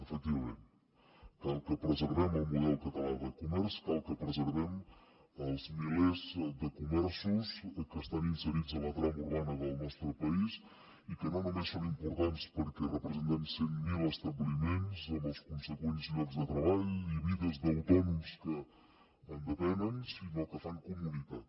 efectivament cal que preservem el model català de comerç cal que preservem els milers de comerços que estan inserits en la trama urbana del nostre país i que no només són importants perquè representen cent mil establiments amb els consegüents llocs de treball i vides d’autònoms que en depenen sinó que fan comunitat